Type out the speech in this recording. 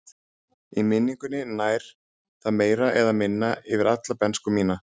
Í minningunni nær það meira eða minna yfir alla bernsku mína.